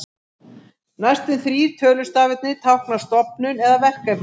Næstu þrír tölustafirnir tákna stofnun eða verkefni.